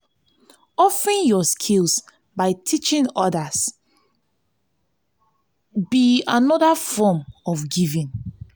offering yur skills by teaching odas be teaching odas be anoda form of giving.